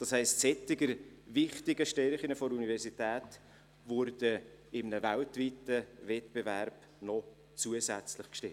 Das heisst, solch wichtige Stärken der Universität würden in einem weltweiten Wettbewerb noch zusätzlich gestärkt.